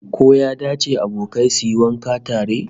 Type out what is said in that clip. Ko ya dace abokai su yi wanka tare?